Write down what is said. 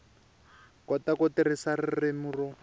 kota ku tirhisa ririmi ro